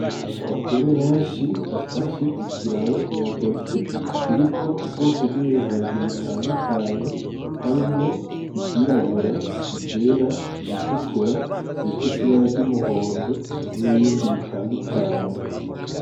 Abagore benshi bafashe ikiraro mu ntoke kiriko ubwoko bw'ibiharage butandukanye harimwo ivyirabura, ivyera, ibitukura, bifise ibara ry'umuhondo n'ibindi bitandukanye.